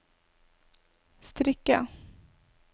strikke